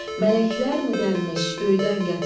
Mələklərmi dərmiş, göydən gətirmiş?